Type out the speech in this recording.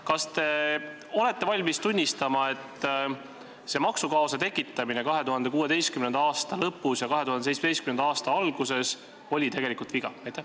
Kas te olete valmis tunnistama, et maksukaose tekitamine 2016. aasta lõpus ja 2017. aasta alguses oli tegelikult viga?